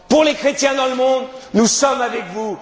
pour les chrétiens dans le monde, nous sommes avec